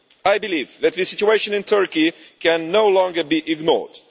I believe that the situation in Turkey can no longer be ignored.